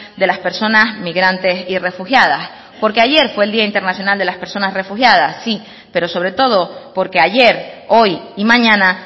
de las personas migrantes y refugiadas porque ayer fue el día internacional de las personas refugiadas sí pero sobre todo porque ayer hoy y mañana